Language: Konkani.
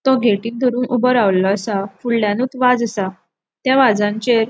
तो गेटिक धोरून ऊबो रावलों आसा फुड्ल्यानूच वाज आसा त्या वाजांचेर --